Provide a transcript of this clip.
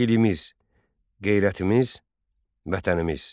Dilimiz, qeyrətimiz, vətənimiz.